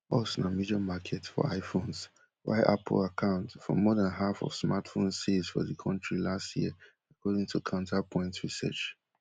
us na major market for iphones while apple account for more dan half of smartphones sales for di kontri last year according to counterpoint research